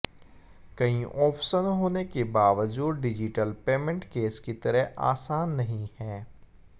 कई ऑप्शन होने के बावजूद डिजिटल पेमेंट कैश की तरह आसान नहीं है